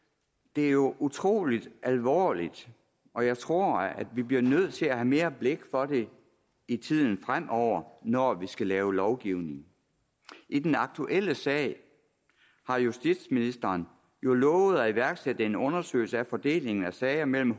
det er jo utrolig alvorligt og jeg tror vi bliver nødt til at have mere blik for det i tiden fremover når vi skal lave lovgivning i den aktuelle sag har justitsministeren jo lovet at iværksætte en undersøgelse af fordelingen af sager mellem